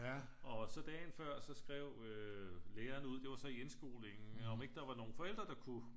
Og så dagen før så skrev øh lærerne ud det var så i indskolingen om ikke der var nogle forældre der kunne